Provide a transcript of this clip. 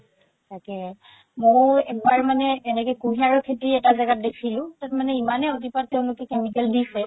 তাকেই মও এবাৰ মানে এনেকে কুহিয়াৰৰ খেতি এটা জেগাত দেখিলো তাত মানে ইমানে অতিপাত তেওলোকে chemical দিছে